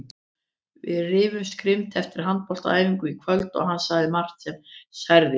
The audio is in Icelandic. Við rifumst grimmt eftir handboltaæfinguna í kvöld og hann sagði margt sem særði mig.